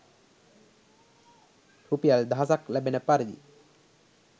රුපියල් දහසක්‌ ලැබෙන පරිදි